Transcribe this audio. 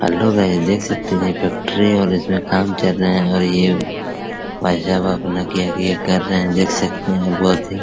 hello guys देख सकते है ये फैक्ट्री और इसमें काम चल रहा है और ये भाई साहब अपना क्या की ये कर रहे है देख सकते है बहुत ही --